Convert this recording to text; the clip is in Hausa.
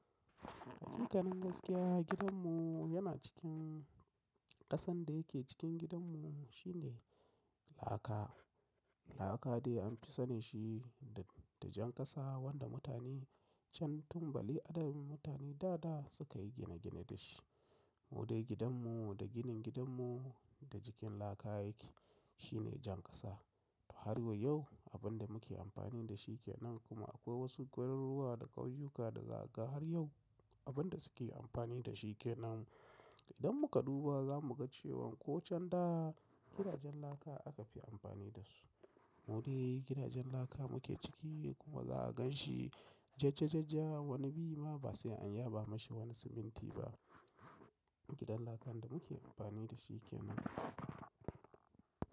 Haƙiƙanin gaskiya gidanmu yana cikin ƙasan da yake cikin gidanmu shine laka. Laka dai an fi sani shi da jan ƙasa wanda mutane can tun Bali adadin mutane da da suka yi gine gine da shi. Mu dai gidanmu da ginin gidanmu da jikin laka yake. Shi ne jan ƙasa. Har wa yau abin da muke amfani da shi ke nan kuma akwai wasu garuruwa da ƙauyuka da za ka ga har yau abin da suke amfani da shi ke nan. Idan muka duba za mu ga cewan ko can da gidajen laka aka fi amfani da su. Mu dai gidajen laka muke ciki kuma za a gan shi jaja-ja-ja wani bi ma ba sai an yaba mashi wani siminti ba. Gidan lakan da muke amfani da shi kenan.